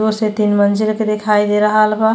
दो से तीन मंज़िल के दिखाई दे रहल बा।